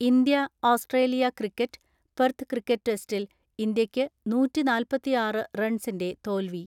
India, Australia cricket, Perth cricket ടെസ്റ്റിൽ ഇന്ത്യയ്ക്ക് നൂറ്റിനാൽപത്തിആറ് റൺസിന്റെ തോൽവി.